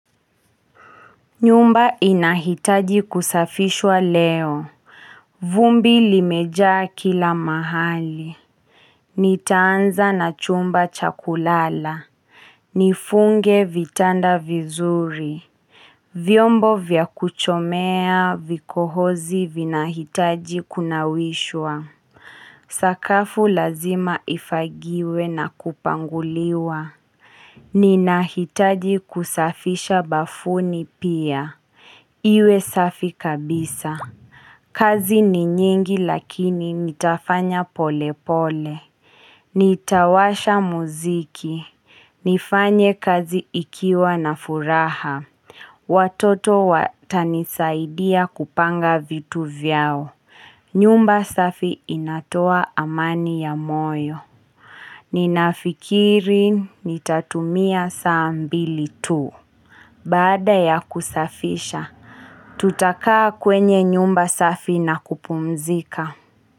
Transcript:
Nyumba inahitaji kusafishwa leo, vumbi limejaa kila mahali Nitaanza na chumba cha kulala Nifunge vitanda vizuri. Vyombo vya kuchomea vikohozi vinahitaji kunawishwa Sakafu lazima ifagiwe na kupanguliwa Ninahitaji kusafisha bafuni pia Iwe safi kabisa. Kazi ni nyingi lakini nitafanya pole pole. Nitawasha muziki. Nifanye kazi ikiwa na furaha. Watoto watanisaidia kupanga vitu vyao. Nyumba safi inatoa amani ya moyo. Ninafikiri nitatumia saa mbili tu. Bada ya kusafisha. Tutakaa kwenye nyumba safi na kupumzika.